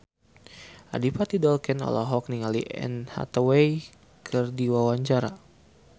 Adipati Dolken olohok ningali Anne Hathaway keur diwawancara